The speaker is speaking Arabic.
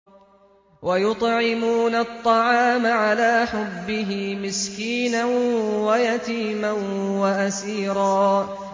وَيُطْعِمُونَ الطَّعَامَ عَلَىٰ حُبِّهِ مِسْكِينًا وَيَتِيمًا وَأَسِيرًا